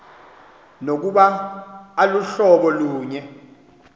nokuba aluhlobo lunye